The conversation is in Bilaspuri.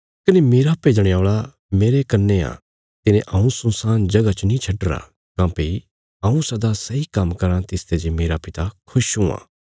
कने मेरा भेजणे औल़ा मेरे कन्ने आ तिने हऊँ सुनसान जगह च नीं छड्डीरा काँह्भई हऊँ सदा सैई काम्म कराँ तिसते जे मेरा पिता खुश हुआं